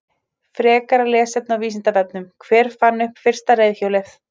Frekara lesefni á Vísindavefnum: Hver fann upp fyrsta reiðhjólið?